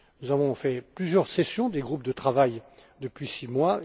Nous avons organisé plusieurs sessions des groupes de travail depuis six mois.